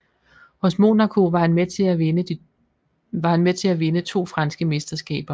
Hos Monaco var han med til at vinde to franske mesterskaber